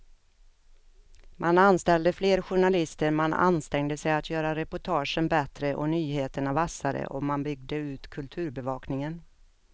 Man anställde fler journalister, man ansträngde sig att göra reportagen bättre och nyheterna vassare och man byggde ut kulturbevakningen.